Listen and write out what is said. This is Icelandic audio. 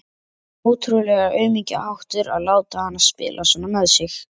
Ótrúlegur aumingjaháttur að láta hana spila svona með sig.